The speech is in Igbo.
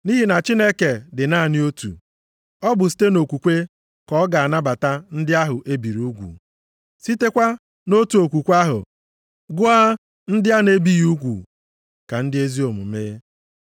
Nʼihi na Chineke dị naanị otu, ọ bụ site nʼokwukwe ka ọ ga-anabata ndị ahụ ebiri ugwu, sitekwa nʼotu okwukwe ahụ gụọ ndị a na-ebighị ugwu ka ndị ezi omume.